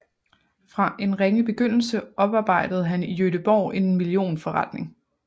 Fra en ringe begyndelse oparbejdede han i Göteborg en millionforretning